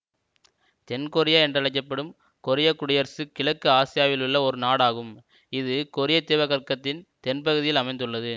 தென்கொரியா என்றழைக்க படும் கொரியக்குடியரசு கிழக்கு ஆசியாவிலுள்ள ஒரு நாடாகும் இது கொரியத்தீபகற்பத்தின் தென்பகுதியில் அமைந்துள்ளது